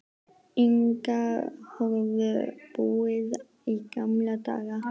Inga höfðu búið í gamla daga.